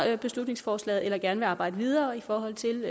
beslutningsforslaget eller gerne vil arbejde videre i forhold til